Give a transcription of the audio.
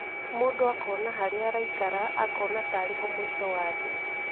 Mũndũ akona harĩa araikara akona ta arĩ ho mũico wa thĩ".